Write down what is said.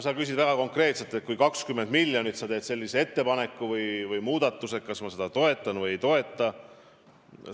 Sa küsisid väga konkreetselt, et kui tehtaks selline muudatus ja eraldataks 20 miljonit, siis kas ma seda toetaks või ei toetaks.